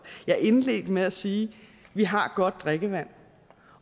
jeg indledte med at sige vi har godt drikkevand